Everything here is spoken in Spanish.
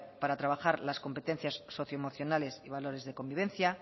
para trabajar las competencias socioemocionales y valores de convivencia